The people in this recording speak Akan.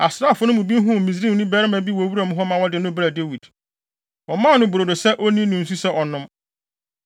Asraafo no bi huu Misraimni barima bi wɔ wuram hɔ ma wɔde no brɛɛ Dawid. Wɔmaa no brodo sɛ onni ne nsu sɛ ɔnnom.